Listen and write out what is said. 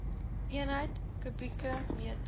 eenheid kubieke meter